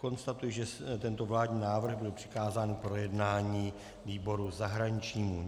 Konstatuji, že tento vládní návrh byl přikázán k projednání výboru zahraničnímu.